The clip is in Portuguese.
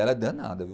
Ela é danada, viu?